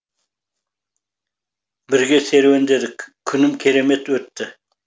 бірге серуендедік күнім керемет өтті